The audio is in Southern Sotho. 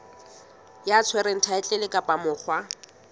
ya tshwereng thaetlele kapa monga